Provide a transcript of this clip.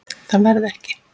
Það verði ekki.